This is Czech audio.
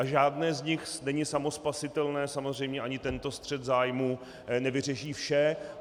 A žádné z nich není samospasitelné, samozřejmě ani tento střet zájmů nevyřeší vše.